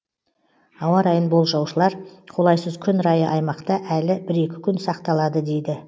ауа райын болжаушылар қолайсыз күн райы аймақта әлі бір екі күн сақталады дейді